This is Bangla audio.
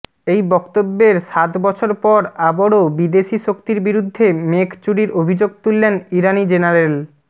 এই বক্তব্যের সাত বছর পর আবারও বিদেশি শক্তির বিরুদ্ধে মেঘ চুরির অভিযোগ তুললেন ইরানি জেনারেল